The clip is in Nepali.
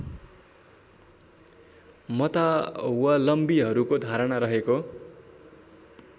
मतावलम्बीहरूको धारणा रहेको